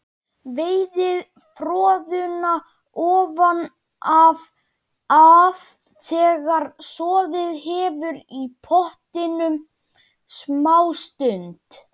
Veiðið froðuna ofan af þegar soðið hefur í pottinum smástund.